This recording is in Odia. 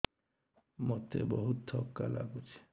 ମୋତେ ବହୁତ୍ ଥକା ଲାଗୁଛି